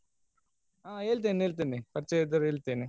ಹಾ ಹೇಳ್ತೇನೆ ಹೇಳ್ತೇನೆ ಪರಿಚಯ ಇದ್ದವ್ರ್ಡ್ ಹೇಳ್ತೇನೆ.